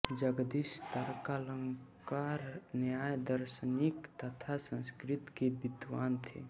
जगदीश तर्कालंकार न्याय दार्शनिक तथा संस्कृत के विद्वान थे